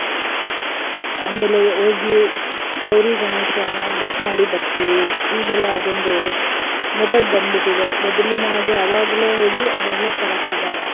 ಆಮೇಲೆ ಹೋಗಿ ಗೌರಿ ಗಣೇಶಾನ book ಮಾಡಿ ಬರ್ತಿವಿ. ಈಗಲೇ ಅದೊಂದು method ಬಂದು ಬಿಟ್ಟಿದೆ. ಮೊದಲಿನಾಗೆ ಆವಾಗ್ಲೆ ಹೋಗಿ ಆವಾಗ್ಲೆ ತರಕಾಗಲ್ಲ.